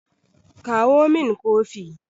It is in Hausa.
kawo min Kofi!